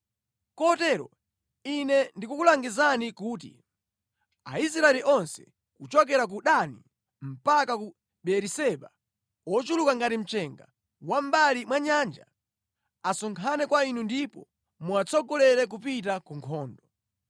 “Kotero ine ndikukulangizani kuti: Aisraeli onse, kuchokera ku Dani mpaka ku Beeriseba; ochuluka ngati mchenga wa mʼmbali mwa nyanja, asonkhane kwa inu ndipo muwatsogolera kupita ku nkhondo.